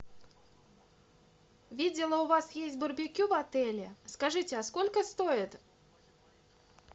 видела у вас есть барбекю в отеле скажите а сколько стоит